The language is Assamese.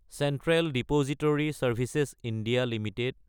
central depository services (India) Ltd